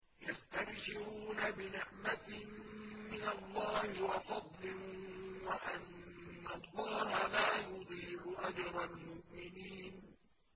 ۞ يَسْتَبْشِرُونَ بِنِعْمَةٍ مِّنَ اللَّهِ وَفَضْلٍ وَأَنَّ اللَّهَ لَا يُضِيعُ أَجْرَ الْمُؤْمِنِينَ